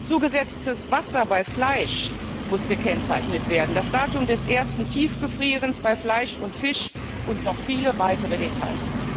Zugesetztes Wasser bei Fleisch muss gekennzeichnet werden, das Datum des ersten Tiefgefrierens bei Fleisch und Fisch und noch viele weitere Details.